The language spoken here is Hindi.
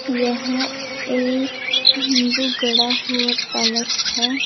यह एक तंबू गढ़ा हुआ पैलेस है।